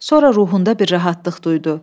Sonra ruhunda bir rahatlıq duydu.